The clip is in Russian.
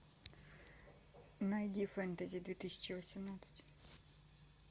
найди фэнтези две тысячи восемнадцать